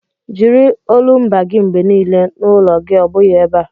Jiri olumba gị mgbe niile n'ụlọ gị ọ bụghị ebe a!